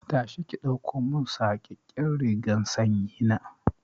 Tashi ki ɗaukomin saƙaƙƙen rigar sanyi na!